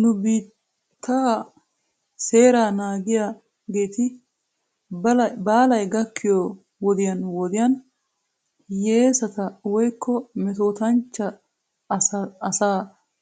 Nu biittaa seeraa naagissiyaageeti baalay gakkiyoo wodiyan wodiyan hiyeesata woykko metootanchcha asaa